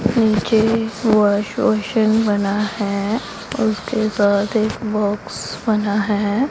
नीचे wash basin बना है और उसके बाद एक बाक्स बना है।